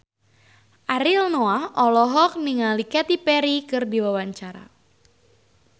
Ariel Noah olohok ningali Katy Perry keur diwawancara